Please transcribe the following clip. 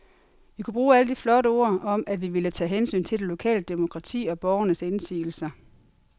Vi kunne bruge alle de flotte ord om, at vi ville tage hensyn til det lokale demokrati og borgernes indsigelser.